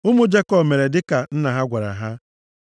Ụmụ Jekọb mere dịka nna ha gwara ha.